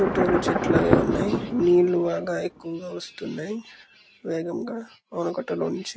చుట్టూరూ చెట్లు అవి ఉన్నాయి. నీళ్ళు బాగా ఎక్కువగా వస్తున్నాయి వేగంగా ఆనకట్ట లోంచి.